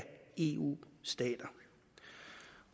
eu stater